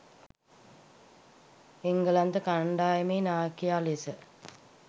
එංගලන්ත කණ්ඩායමේ නායකයා ලෙස